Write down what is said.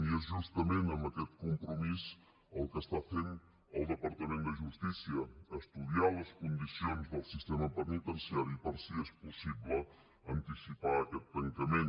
i és justament amb aquest compromís el que esta fent el departament de justícia estudiar les condicions del sistema penitenciari per si és possible anticipar aquest tancament